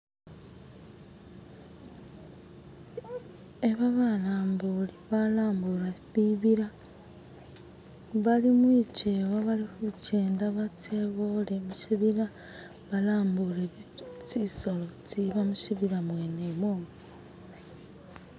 Aba balambuli balambula bibila bulimukyewa balikyenda batse bole musibila balambule tsisolo tsiba musibila mwene umwomo.